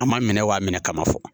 An m'a minɛ wa minɛ kama fɔlɔ